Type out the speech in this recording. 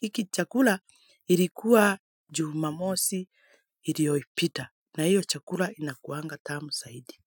hiki chakula ilikuwa Jumamosi iliyopita. Na hiyo chakula inakuwanga tamu zaidi.